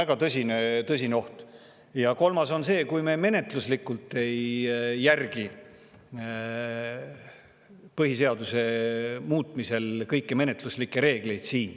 Ja kolmas on see, et me menetluslikult ei järgi põhiseaduse muutmise kõiki menetluslikke reegleid.